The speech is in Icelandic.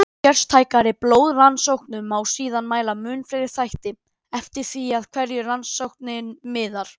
Kristnar stelpur í kjólum flissuðu, karlmenn með samanvafðar regnhlífar störðu þöglir út að blárri sjónarrönd.